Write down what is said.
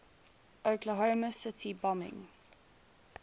oklahoma city bombing